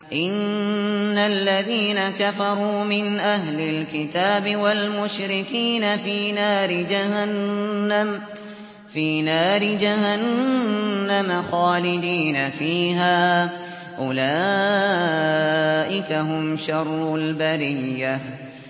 إِنَّ الَّذِينَ كَفَرُوا مِنْ أَهْلِ الْكِتَابِ وَالْمُشْرِكِينَ فِي نَارِ جَهَنَّمَ خَالِدِينَ فِيهَا ۚ أُولَٰئِكَ هُمْ شَرُّ الْبَرِيَّةِ